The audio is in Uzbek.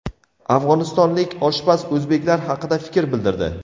Afg‘onistonlik oshpaz o‘zbeklar haqida fikr bildirdi.